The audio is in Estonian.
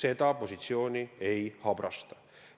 seda positsiooni ei habrastaks.